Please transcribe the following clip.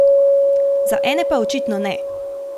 Za ene pa očitno ne.